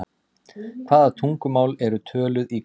Hvaða tungumál eru töluð í Kanada?